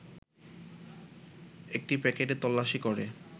একটি প্যাকেটে তল্লাশি করে